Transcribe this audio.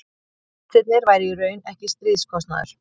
vextirnir væru í raun ekki stríðskostnaður